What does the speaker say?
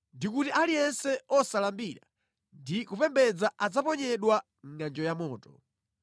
ndi kuti aliyense osalambira ndi kupembedza adzaponyedwa mʼngʼanjo ya moto.